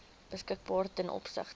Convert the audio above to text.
beskikbaar ten opsigte